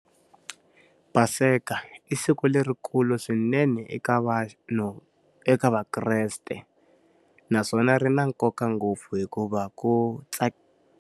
Paseka i siku lerikulu swinene eka vanhu eka vakreste. Naswona ri na nkoka ngopfu hikuva ku .